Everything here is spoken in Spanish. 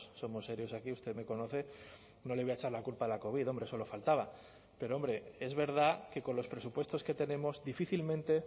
somos serios aquí usted me conoce no le voy a echar la culpa a la covid hombre solo faltaba pero hombre es verdad que con los presupuestos que tenemos difícilmente